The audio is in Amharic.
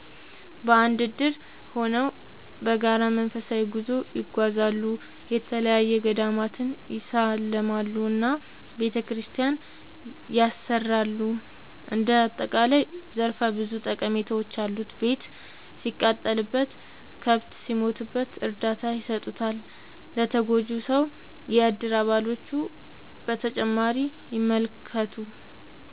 በአንድ እድር ሆነው በጋራ መንፈሳዊ ጉዞ ይጓዛሉ፣ የተለያዪ ገዳማትን ይሳለማሉ እና ቤተክርስቲያን ያሰራሉ እንደ አጠቃላይ ዘርፈ ብዙ ጠቀሜታዎች አሉት። ቤት ሲቃጠልበት፣ ከብት ሲሞትበት እርዳታ ይሰጡታል ለተጎጂው ሰው የእድር አባሎቹ።…ተጨማሪ ይመልከቱ